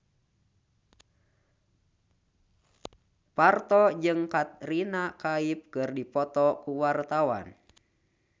Parto jeung Katrina Kaif keur dipoto ku wartawan